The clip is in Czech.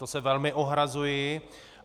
To se velmi ohrazuji.